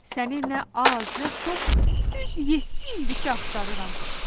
Səni nə az, nə çox, düz yeddi ildir ki axtarıram.